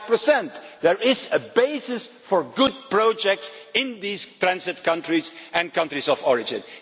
5. There is a basis for good projects in these transit countries and countries of origin.